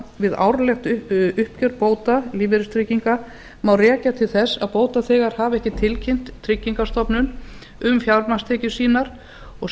við árlegt uppgjör bóta lífeyristrygginga má rekja til þess að bótaþegar hafa ekki tilkynnt tryggingastofnun um fjármagnstekjur sínar og